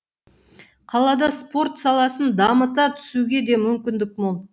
қалада спорт саласын дамыта түсуге де мүмкіндік мол